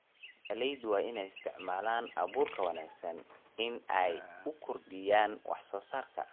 Beeralayda waa in ay isticmaalaan abuur wanaagsan si ay u kordhiyaan wax-soo-saarka.